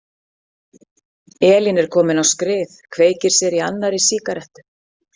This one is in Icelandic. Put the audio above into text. Elín er komin á skrið, kveikir sér í annarri sígarettu.